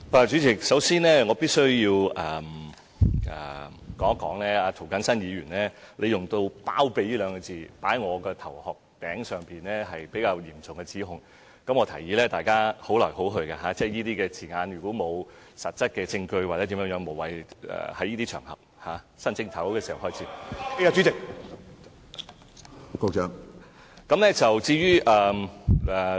主席，首先我必需指出，涂謹申議員套用到"包庇"二字在我身上，是比較嚴重的指控，我提議大家互相尊重，如果沒有實質證據，在新一年，議員沒必要在這些場合使用這些字眼。